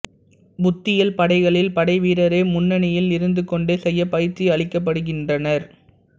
புத்தியல் படைகளில் படைவீரரே முண்னணியில் இருந்துகொண்டே செய்ய பயிற்சி அளிக்கப்படுகின்றனர்